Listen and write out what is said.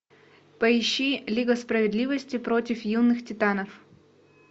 поищи лига справедливости против юнных титанов